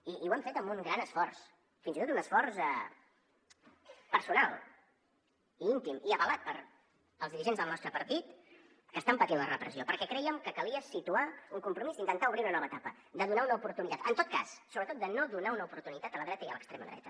i ho hem fet amb un gran esforç fins i tot un esforç personal i íntim i avalat pels dirigents del nostre partit que estan patint la repressió perquè crèiem que calia situar un compromís d’intentar obrir una nova etapa de donar una oportunitat en tot cas sobretot de no donar una oportunitat a la dreta i a l’extrema dreta